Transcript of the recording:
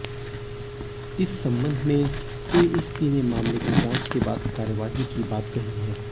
इस संबंध में एएसपी ने मामले की जांच के बाद कार्यवाही की बात कहीं है